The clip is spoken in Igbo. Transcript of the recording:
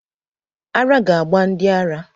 Ara ga gba ndi ara